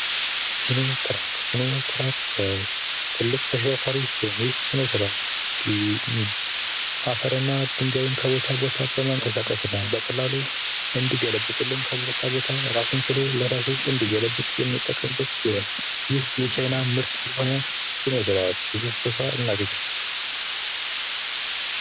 ሲኖትራክ:- ሲኖትራክ ትልቅ ተሽከርካሪ ሲሆን ይህ ሲኖትራክ አፈር እና ድንጋይ ከቦታ ቦታ በማንቀሳቀስ እና በቀላሉ እንዲገለብጥ ከቦታ ቦታ እራሱን ችሉ እንዲገለብጥ የምንጠቀምበት ሲሆን ይህ የቻይና ምርት የሆነ ሲኖትራክ ብዙ ቦታ እናገኘዋለን።